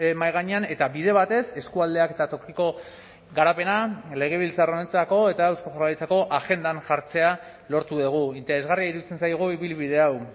mahai gainean eta bide batez eskualdeak eta tokiko garapena legebiltzar honetako eta eusko jaurlaritzako agendan jartzea lortu dugu interesgarria iruditzen zaigu ibilbide hau